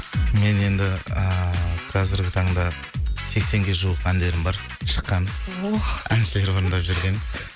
мен енді ыыы қазіргі таңда сексенге жуық әндерім бар шыққан ох әншілер орындап жүрген